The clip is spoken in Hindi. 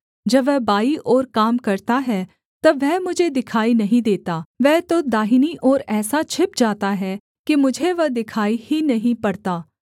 जब वह बाईं ओर काम करता है तब वह मुझे दिखाई नहीं देता वह तो दाहिनी ओर ऐसा छिप जाता है कि मुझे वह दिखाई ही नहीं पड़ता